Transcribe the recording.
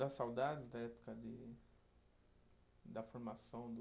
Dá saudades da época de, da formação do